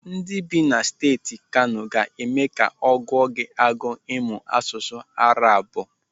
Ndị bị na Steeti Kano ga-eme ka ọ gụọ gị agụụ ịmụ asụsụ ndị Arabu.